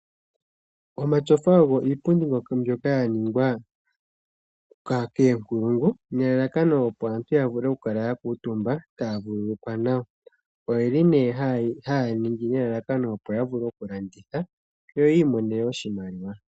Omatyofa ogo iipundi mbyoka yaningawa koongulungu nelalakano opo aantu yavule okukala yakuutumba, taya vulukwa nawa. Oyeli hayeyi ningi nelalakano opo yavule okulanditha opo yiimonenemo oshimaliwa.